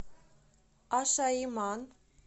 ашаиман